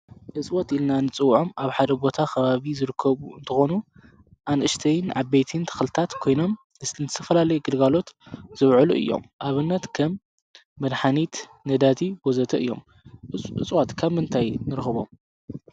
እፅዋት ኢልና ንፅውዖም ኣብ ሓደ ቦታ ኽባቢ ዝርከቡ እንትኾኑ ኣንእሽተይን ዓበይትን ተኽልታት ኮይኖም ንዝተፈላለየ ግልጓሎት ዝውዕሉ እዮም፡፡ ኣብነት ከም መድኃኒት፣ ነዳዲ ወዘተ እዮም፡፡ እጽዋት ካብ ምንታይ ንርኽቦም?